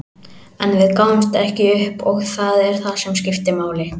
En við gáfumst ekki upp og það er það sem skiptir máli.